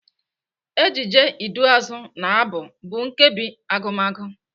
Ejije, iduuazụ na Abụ bụ nkebi Agụmagụ.